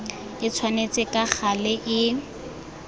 e tshwanetse ka gale e